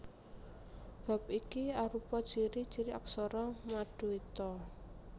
Bab iki arupa ciri ciri aksara maduita